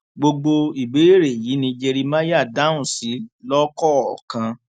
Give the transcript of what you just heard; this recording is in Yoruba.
gbogbo ìbéèrè yìí ni jeremáyà dáhùn sí lọkọọkan